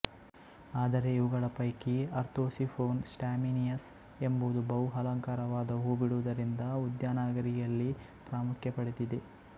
ಆದರೆ ಇವುಗಳ ಪೈಕಿ ಅರ್ತೊಸಿಫೊನ್ ಸ್ಟಾಮಿನಿಯಸ್ ಎಂಬುದು ಬಹು ಅಲಂಕಾರವಾದ ಹೂ ಬಿಡುವುದರಿಂದ ಉದ್ಯಾನಗಾರಿಕೆಯಲ್ಲಿ ಪ್ರಾಮುಖ್ಯ ಪಡೆದಿದೆ